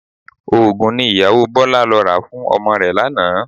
Oògùn ni ìyàwó Bọlá lọ rà fún ọmọ rẹ̀ lánàá